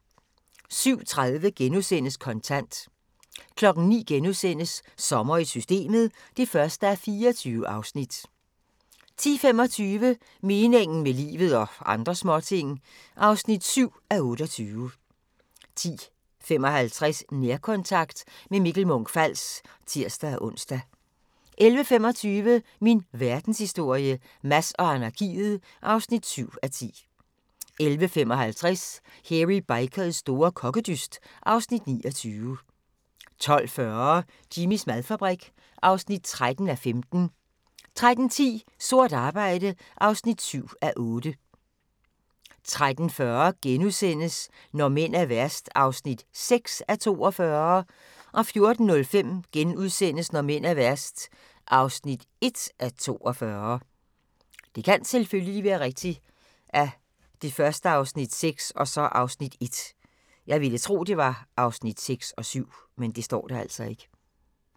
07:30: Kontant * 09:00: Sommer i Systemet (1:24)* 10:25: Meningen med livet – og andre småting (7:28) 10:55: Nærkontakt – med Mikkel Munch-Fals (tir-ons) 11:25: Min verdenshistorie - Mads og anarkiet (7:10) 11:55: Hairy Bikers store kokkedyst (Afs. 29) 12:40: Jimmys madfabrik (13:15) 13:10: Sort arbejde (7:8) 13:40: Når mænd er værst (6:42)* 14:05: Når mænd er værst (1:42)*